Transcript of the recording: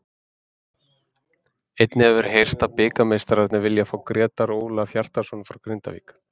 Einnig hefur heyrst að bikarmeistararnir vilji fá Grétar Ólaf Hjartarson frá Grindavík.